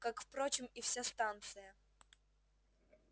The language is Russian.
как впрочем и вся станция